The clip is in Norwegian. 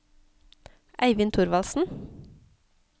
Eivind Thorvaldsen